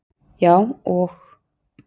Já og?